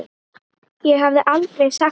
Ég hefði aldrei sagt það.